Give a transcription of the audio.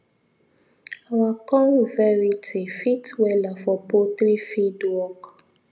our corn variety fit wella for poultry feed work